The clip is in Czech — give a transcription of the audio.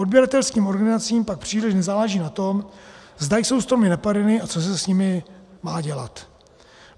Odběratelským organizacím pak příliš nezáleží na tom, zda jsou stromy napadeny a co se s nimi má dělat.